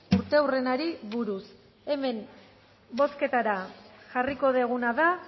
urteurrenari buruz hemen bozketara jarriko duguna da